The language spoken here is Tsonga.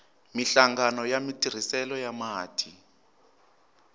minhlangano ya matirhiselo ya mati